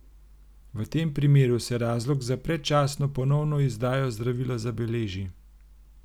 V tem primeru se razlog za predčasno ponovno izdajo zdravila zabeleži.